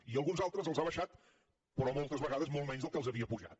i alguns altres els ha abaixat però moltes vegades molt menys dels que havia apujat